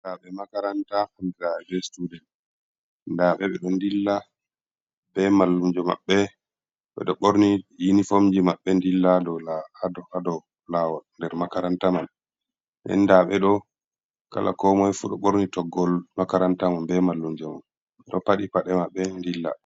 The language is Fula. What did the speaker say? Ndaɓe makaranta hamra students ndaaɓe ɓe ɗo ndilla ɓe mallumjo maɓɓe, ɓeɗo ɓorni yini fomji maɓɓe ndilla ɗo ado lawol, nder makaranta man endaɓe do kala ko moy fu ɗo ɓorni toggol makaranta man, be mallunjo man ɗo paɗi paɗe maɓɓe dilla.